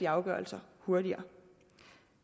afgørelser hurtigere